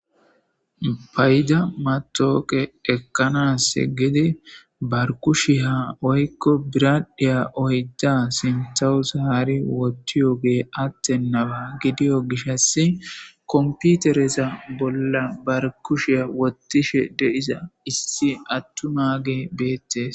Payda matooqe ekkanas giddi bar kushshiya woyikko biraddhiya oydda sintawu zaari wotiyo gee attenaba gidiyo gishas komputereza bolla bar kushiya wottishe de'iza issi attumage beettees.